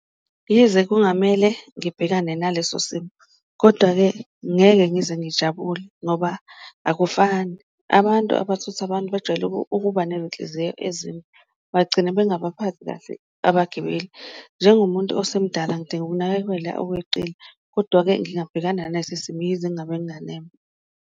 Yize kungamele ngibhekane naleso simo kodwa-ke ngeke ngize ngijabule ngoba akufani abantu abathutha abantu bajwayele ukuba nenhliziyo ezimbi, bagcina bangabaphathi kahle abagibeli. Njengomuntu osemdala ngidinga ukunakekela okweqile. Kodwa-ke ngingabhekana naso isimo yize ngingabe nganeme.